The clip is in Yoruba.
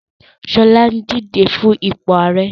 Ṣọlá ń díje fún ipò ààrẹ